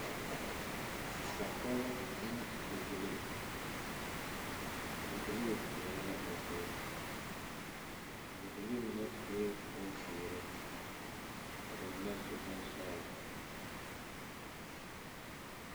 Nasapoge la ne bibilii. A bibilii kpɛere la o zie. Bibilii mene sue bon ziire ka ba mene su bon sɔglɔ